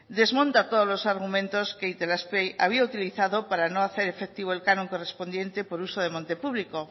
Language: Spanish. desmonta todos los argumentos que itelazpe había utilizado para no hacer efectivo el canon correspondiente por uso de monte público